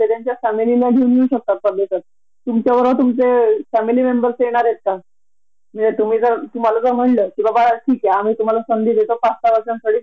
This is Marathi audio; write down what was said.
आणि त्यानंतर पन आजून एक वर्ष ती सुट्टी वाढून घेऊ शकते जर फक्त तेवढ असत की बिनपगारी असते. पण आईला एवढ तिथे कंसीडरेशन असत